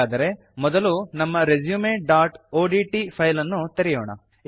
ಹಾಗಾದರೆ ಮೊದಲು ನಮ್ಮ resumeಒಡಿಟಿ ಫೈಲ್ ಅನ್ನು ತೆರೆಯೋಣ